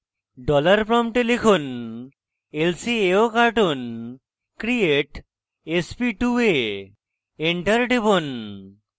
dollar প্রম্পটে লিখুন lcaocartoon create sp2a enter টিপুন